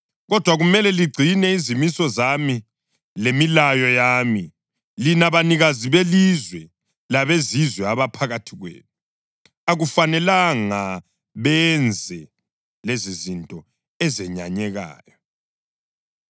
Kodwa kumele ligcine izimiso zami lemilayo yami. Lina banikazi belizwe labezizwe abaphakathi kwenu, akufanelanga benze lezizinto ezenyanyekayo,